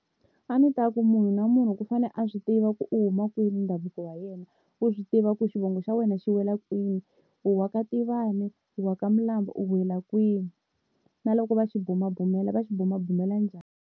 A ndzi ta ku munhu na munhu ku fane a swi tiva ku u huma kwini ni ndhavuko wa yena, u swi tiva ku xivongo xa wena xi wela kwini u waka Tivani u wa ka Milambo u wela kwini, na loko va xi bumabumela va xi bumabumela njhani.